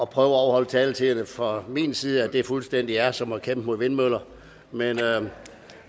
prøve at overholde taletiderne fra min side fuldstændig er som at kæmpe mod vindmøller men